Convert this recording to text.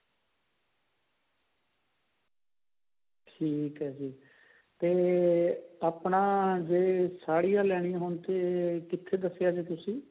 ਠੀਕ ਹੈ ਜੀ ਤੇ ਆਪਣਾ ਜੇ ਸਾੜੀਆਂ ਲੈਣੀਆ ਹੋਣ ਤਾਂ ਕਿੱਥੇ ਦੱਸਿਆ ਸੀ ਤੁਸੀਂ